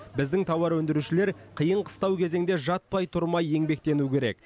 біздің тауар өндірушілер қиын қыстау кезеңде жатпай тұрмай еңбектенуі керек